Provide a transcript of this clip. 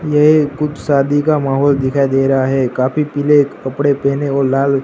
ये कुछ शादी का माहौल दिखाई दे रहा है काफी पीले कपड़े पहने और लाल--